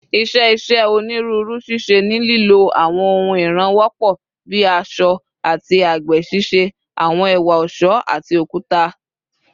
"Iṣẹ́ iṣẹ́ onírú ṣíṣe ni lílò àwọn ohun ìràn wọ́pọ̀ bíi àṣọ́ àti àgbè ṣíṣe àwọn ẹ̀wà ọ̀ṣọ́ àti okuta."